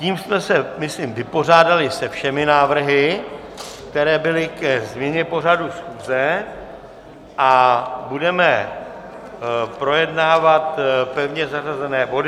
Tím jsme se myslím vypořádali se všemi návrhy, které byly ke změně pořadu schůze, a budeme projednávat pevně zařazené body.